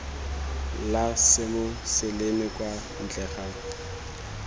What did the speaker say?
la semoseleme kwa ntle ga